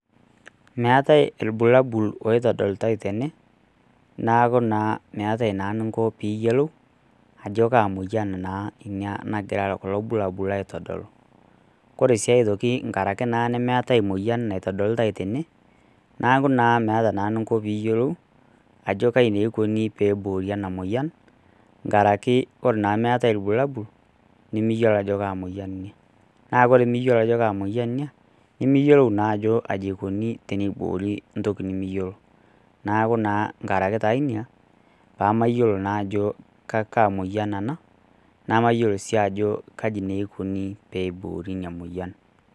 meetai ilbulabul oitodolitai tene neeku naa meeta naa eninko piyiolou ajo kaa moyian ina nagira kulo bulabil aitodolu koree sii aitoki nkarakii naa nemeetai moyian naitodolitai tene neeku naa meetaa naa eninko teniyiolou ajo kaji naa eikoni teneiboori en moyian nkaraki oree naa tenemeetai ilbulabul nimiyolo ajo kaa moyian ina naa koree miyiolo ajo kaa moyian ina nimiyiolo naa ajo aji eikuni teneikuni ntoki nimiyiolo neeku naa nkaraki naa ina pamaayolo naa ajo kaa moyian ena namayiolo si ajo kaji eikuni teneiborii ina moyian